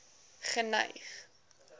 geneig